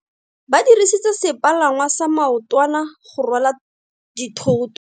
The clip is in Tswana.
Ba dirisitse sepalangwasa maotwana go rwala dithoto.